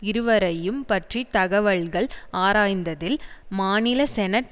இருவரையும் பற்றி தகவல்கள் ஆராய்ந்ததில் மாநில செனட்